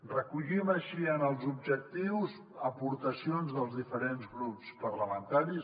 recollim així en els objectius aportacions dels diferents grups parlamentaris